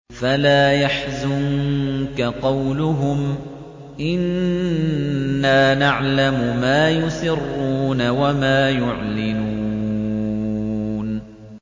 فَلَا يَحْزُنكَ قَوْلُهُمْ ۘ إِنَّا نَعْلَمُ مَا يُسِرُّونَ وَمَا يُعْلِنُونَ